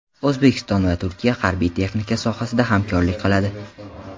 O‘zbekiston va Turkiya harbiy-texnika sohasida hamkorlik qiladi.